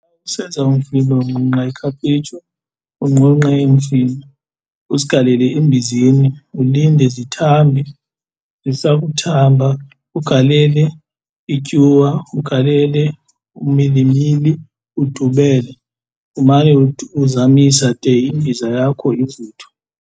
Usenza umfino unqunqa ikhaphetshu, unqunqe imifino uzigalele embizeni ulinde zithambe, zisakuthamba ugalele ityuwa, ugalele umilimili udubele, umane uzamisa de imbiza yakho ivuthwe.